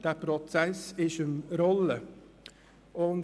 dieser Prozess ist am Rollen.